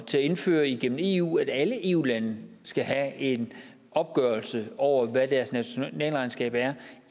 til at indføre igennem eu nemlig at alle eu lande skal have en opgørelse over hvad deres nationalregnskab er